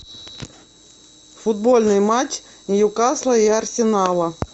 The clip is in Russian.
футбольный матч ньюкасла и арсенала